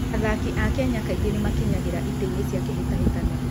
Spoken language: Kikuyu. Athaki a Kenya kaingĩ nĩ makinyagĩra itĩ-inĩ cia kĩhĩtahĩtano.